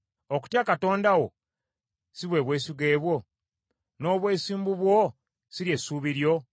Okutya Katonda wo si bwe bwesige bwo, n’obwesimbu bwo si ly’essuubi lyo?